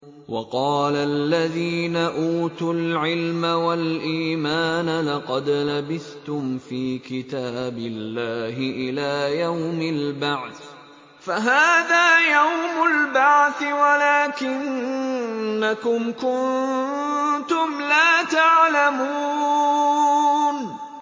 وَقَالَ الَّذِينَ أُوتُوا الْعِلْمَ وَالْإِيمَانَ لَقَدْ لَبِثْتُمْ فِي كِتَابِ اللَّهِ إِلَىٰ يَوْمِ الْبَعْثِ ۖ فَهَٰذَا يَوْمُ الْبَعْثِ وَلَٰكِنَّكُمْ كُنتُمْ لَا تَعْلَمُونَ